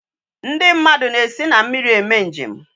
Ndi na esi na mmiri eme njem